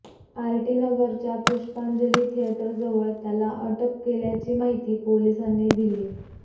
RT नगरच्या पुष्पाजंली थिएटरजवळ त्याला अटक केल्याची माहिती पोलिसांनी दिली